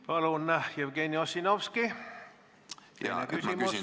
Palun, Jevgeni Ossinovski, teine küsimus!